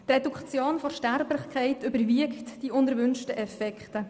Die Reduktion der Sterblichkeit überwiegt die unerwünschten Effekte.